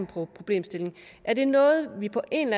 problemstillingen er det noget vi på en